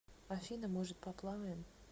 афина может поплаваем